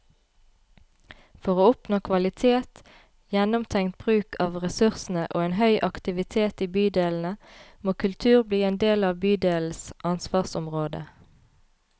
For å oppnå kvalitet, gjennomtenkt bruk av ressursene og en høy aktivitet i bydelene, må kultur bli en del av bydelenes ansvarsområde.